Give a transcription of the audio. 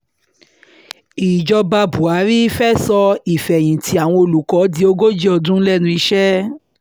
ìjọba buhari fẹ́ẹ́ sọ ìfẹ̀yìntì àwọn olùkọ́ di ogójì ọdún lẹ́nu iṣẹ́